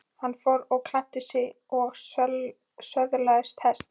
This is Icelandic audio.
Hann fór og klæddi sig og söðlaði hest.